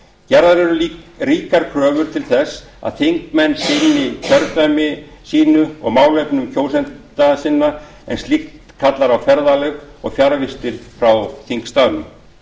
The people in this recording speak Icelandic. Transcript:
gerðar eru ríkar kröfur til þess að þingmenn sinni kjördæmi sínu og málefnum kjósenda sinna en slíkt kallar á ferðalög og fjarvistir frá þingstaðnum